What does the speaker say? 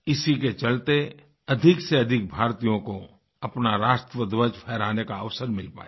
इसी के चलते अधिक से अधिक भारतीयों को अपना राष्ट्रध्वज फहराने का अवसर मिल पाया